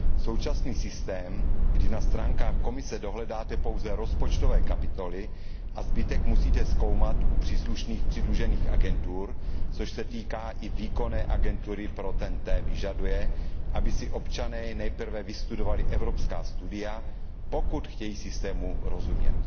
Současný systém, kdy na stránkách Komise dohledáte pouze rozpočtové kapitoly, a zbytek musíte zkoumat u příslušných přidružených agentur, což se týká i výkonné agentury pro TEN T, vyžaduje, aby si občané nejprve vystudovali evropská studia, pokud chtějí systému rozumět.